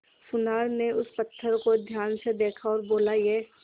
सुनार ने उस पत्थर को ध्यान से देखा और बोला ये